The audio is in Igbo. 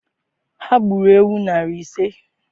Ha gburu ewu narị ise?